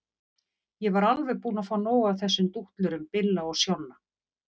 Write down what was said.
Ég var alveg búin að fá nóg af þessum dútlurum Billa og Sjonna.